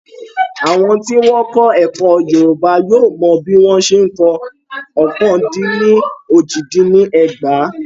Àwọn tí wọ́n kọ́ ẹ̀kọ́ Yorùbá yóò mọ bí wọ́n ṣe ń kọ ọ́kàn-dín-ní-ójì-dín-ní-ẹgbàá.